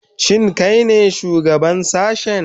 Shin kai ne shugaban sashen?